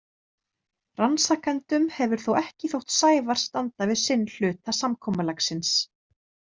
Rannsakendum hefur þó ekki þótt Sævar standa við sinn hluta samkomulagsins.